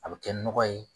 A bɛ kɛ nɔgɔ ye